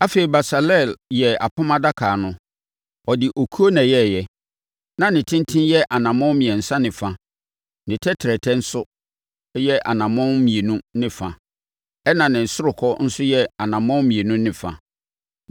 Afei, Besaleel yɛɛ Apam Adaka no. Ɔde okuo na ɛyɛeɛ. Na ne tenten yɛ anammɔn mmiɛnsa ne fa, ne tɛtrɛtɛ nso yɛ anammɔn mmienu ne fa ɛnna ne ɔsorokɔ nso yɛ anammɔn mmienu ne fa.